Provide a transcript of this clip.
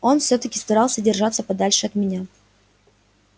он всё-таки старался держаться подальше от меня